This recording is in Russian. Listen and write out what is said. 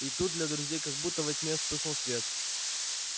и тут для друзей как будто во тьме вспыхнул свет